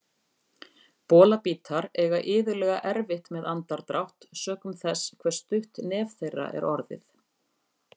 Bolabítar eiga iðulega erfitt með andardrátt sökum þess hve stutt nef þeirra er orðið.